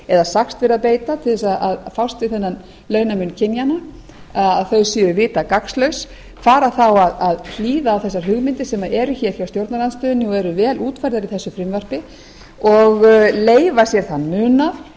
eða sagst vera að beita til þess að fást við þennan launamun kynjanna að þau séu vita gagnslaus fara þá að hlýða á þessar hugmyndir sem eu hér hjá stjórnarandstöðunni og eru vel útfærðar í þessu frumvarpi og leyfa sér þann munað